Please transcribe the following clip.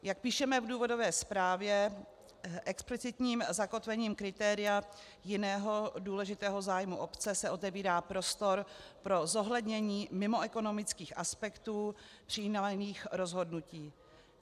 Jak píšeme v důvodové zprávě, explicitním zakotvením kritéria "jiného důležitého zájmu obce" se otevírá prostor pro zohlednění mimoekonomických aspektů přijímaných rozhodnutí.